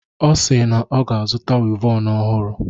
Ọ si na ọ ga-azụta wivọnu ọhụrụ.